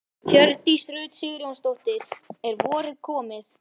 Hjördís Rut Sigurjónsdóttir: Er vorið komið?